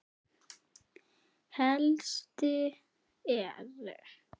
Helstu eru